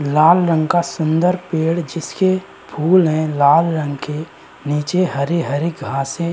लाल रंग का सुंदर पेड़ जिसके फूल हैं लाल रंग के नीचे हरी-हरी घासें --